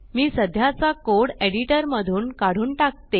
मी सध्याचा code editor मधून काढून टाकते